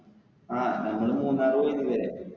ആ നമ്മള് മൂന്നാറ് പോയില്ലേ